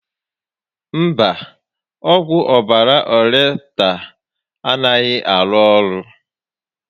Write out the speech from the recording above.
Mba, ọgwụ ọbàrà Ọreptal a naghị arụ orụ